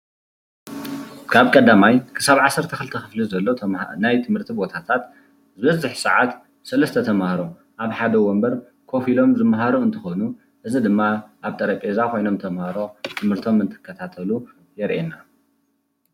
ካብ 1ይ ክሳብ 12 ኽፍሊ ዘለው ናይ ትምህርቲ ቦታታት ዝበዝሕ ሰዓት ሰለስተ ተምሃሮ አብ ሓደ ወንበር ኮፍ ኢሎም ዝመሃሩ እንትኾኑ፤ እዚ ድማ አብ ጠረጴዛ ኾይኖም ተምሃሮ ትምህርቶም እንትከታተሉ የርኤና፡፡